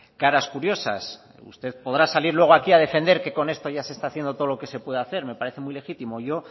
caras curiosas usted podrá salir luego aquí a defender que con esto ya se está haciendo todo lo que se puede hacer me parece muy legítimo yo